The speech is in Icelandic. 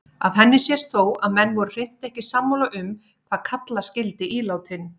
Af henni sést þó að menn voru hreint ekki sammála um hvað kalla skyldi ílátin.